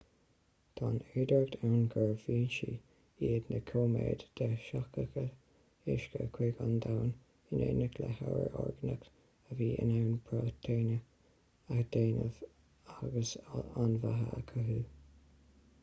tá an fhéidearthacht ann gurbh fhoinsí iad na cóiméid de sheachadadh uisce chuig an domhan in éineacht le hábhar orgánach a bhí in ann próitéine a dhéanamh agus an bheatha a chothú